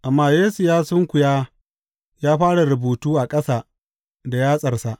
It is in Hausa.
Amma Yesu ya sunkuya ya fara rubutu a ƙasa da yatsarsa.